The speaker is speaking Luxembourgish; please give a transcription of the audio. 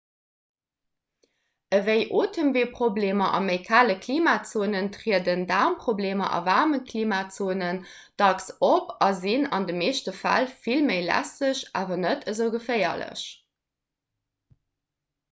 ewéi otemweeproblemer a méi kale klimazone trieden daarmproblemer a waarme klimazonen dacks op a sinn an de meeschte fäll vill méi lästeg awer net esou geféierlech